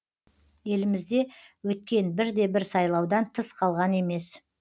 елімізде өткен бірде бір сайлаудан тыс қалған емес